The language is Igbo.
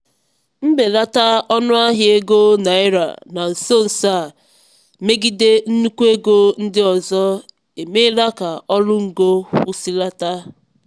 mbelata ọnụahịa ego naịra na nso nso a megide nnukwu ego ndị ọzọ emeela ka ọrụ ngo kwụsịlata.